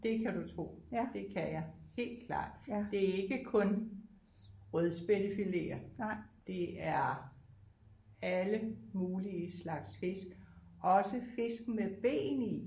Det kan du tro det kan jeg helt klart det er ikke kun rødspættefileter det er alle mulige slags fisk også fisk med ben i